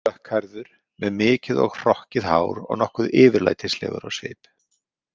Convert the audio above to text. Dökkhærður með mikið og hrokkið hár og nokkuð yfirlætislegur á svip.